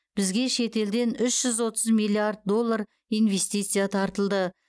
бізге шетелден үш жүз отыз миллиард доллар инвестиция тартылды